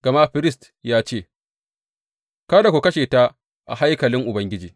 Gama firist ya ce, Kada ku kashe ta a haikalin Ubangiji.